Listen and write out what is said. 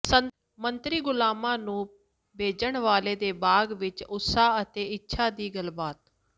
ਸੰਤਰੀ ਗੁਲਾਮਾਂ ਨੂੰ ਭੇਜਣ ਵਾਲੇ ਦੇ ਭਾਗ ਵਿੱਚ ਉਤਸਾਹ ਅਤੇ ਇੱਛਾ ਦੀ ਗੱਲਬਾਤ